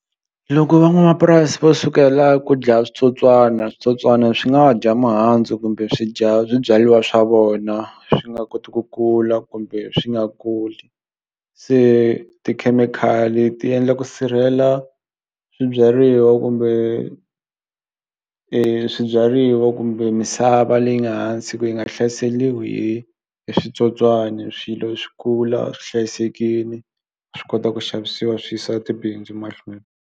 Loko van'wamapurasi va sukela ku dlaya switsotswana switsotswana swi nga dya mihandzu kumbe swi dya swibyaliwa swa vona swi nga koti ku kula kumbe swi nga kuli se tikhemikhali ti endla ku sirhela swibyariwa kumbe swibyariwa kumbe misava leyi nga hansi ku yi nga hlaseliwi hi hi switsotswana swilo swi kula swi hlayisekini swi kota ku xavisiwa swi yisa tibindzu mahlweni.